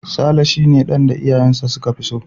Saleh shi ne dan da iyayensa su ka fi so.